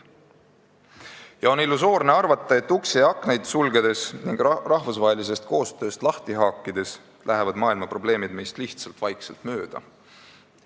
Ja on illusoorne arvata, et uksi ja aknaid sulgedes ning ennast rahvusvahelisest koostööst lahti haakides lähevad maailma probleemid meist lihtsalt vaikselt mööda.